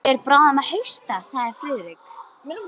Hann fer bráðum að hausta sagði Friðrik.